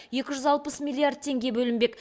екі жүз алпыс миллиард теңге бөлінбек